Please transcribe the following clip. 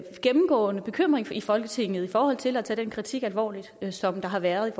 gennemgående bekymring i folketinget i forhold til at tage den kritik alvorligt som der har været